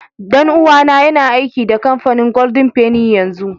Dan uwa na yana aiki da kampanin golden fenny yanzu.